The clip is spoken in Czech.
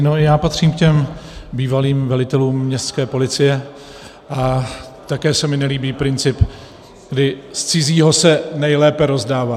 No, já patřím k těm bývalým velitelům městské policie a také se mi nelíbí princip, kdy z cizího se nejlépe rozdává.